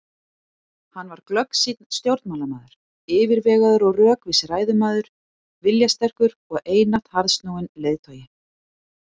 Hann var glöggsýnn stjórnmálamaður, yfirvegaður og rökvís ræðumaður, viljasterkur og einatt harðsnúinn leiðtogi.